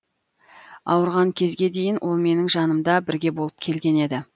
ауырған кезге дейін ол менің жанымда бірге болып келген еді